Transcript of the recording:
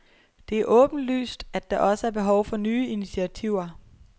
Det er åbenlyst, at der også er behov for nye initiativer.